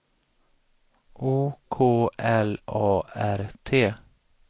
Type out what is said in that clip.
O K L A R T